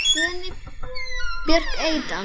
Guðný Björk Eydal.